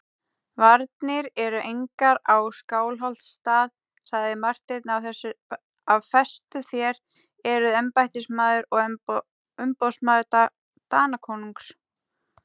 Varnir eru engar á Skálholtsstað, sagði Marteinn af festu,-þér eruð embættismaður og umboðsmaður Danakonungs.